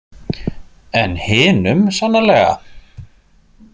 En hinum sannarlega.